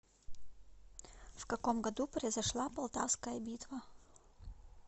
в каком году произошла полтавская битва